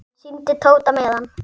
Hann sýndi Tóta miðann.